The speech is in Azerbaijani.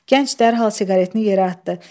Gənc dərhal siqaretini yerə atdı.